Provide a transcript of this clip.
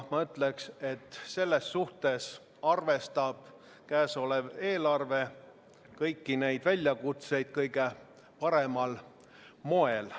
Ma ütleksin, et selles suhtes arvestab käesolev eelarve kõiki neid väljakutseid kõige paremal moel.